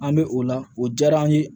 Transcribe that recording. An bɛ o la o diyara an ye